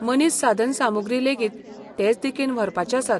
मनीस साधनसामुग्री लेगीत तेच दिकेन व्हरपाचे आसात.